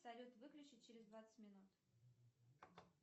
салют выключи через двадцать минут